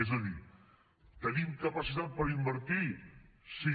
és a dir tenim capacitat per invertir sí